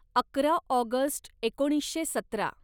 अकरा ऑगस्ट एकोणीसशे सतरा